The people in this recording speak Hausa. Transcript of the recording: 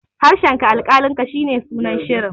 harshenka alkalinka shi ne sunan shirin